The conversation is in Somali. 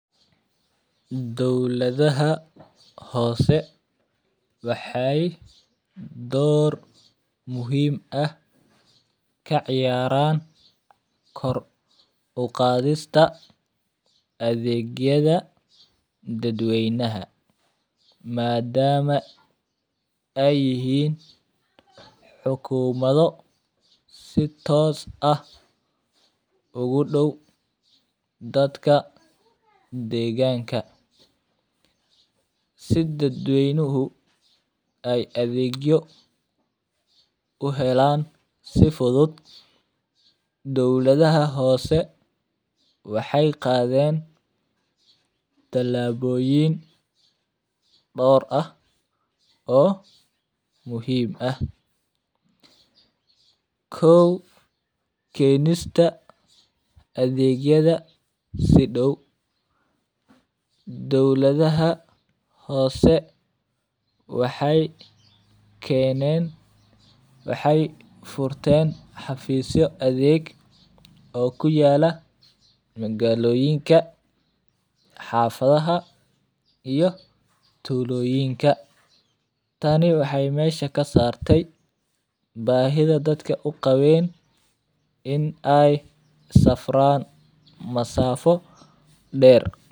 Dawlada ha hoose waxay door muhiim ah ka ciyaaraan kor u qaadista adeegyada dadweynaha maadaama ay yihiin xukuumado si toos ah ugu dhow dadka deegaanka. Si dadweynuhu ay adeegyo u helaan si fudud, dawladaha hoose waxay qaadeen talaabooyin dhoor ah oo muhiim ah. Koow keenista adeegyada si dhow. Dowladaha hoose waxay keeneen waxay furteen xafiiso adeeg oo ku yaala magaalooyinka, xaafadaha iyo tuulooyinka. Taani waxay meesha ka saartay baahida dadka u qabeen in ay safraan masafo dheer.